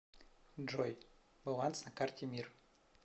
джой баланс на карте мир